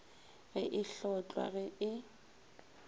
ge e hlotlwa ge e